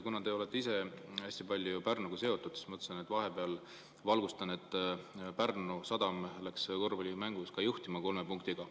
Kuna te olete ise hästi palju Pärnuga seotud, siis ma mõtlesin, et vahepeal valgustan, et Pärnu Sadam läks korvpallimängus kolme punktiga juhtima.